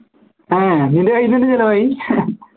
ഏർ നിൻറെ കയ്യിന്ന് ന്നെ ചെലവായി